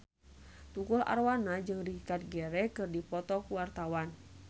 Tukul Arwana jeung Richard Gere keur dipoto ku wartawan